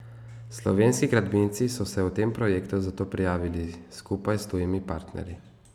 Slovenski gradbinci so se v tem projektu zato prijavili skupaj s tujimi partnerji.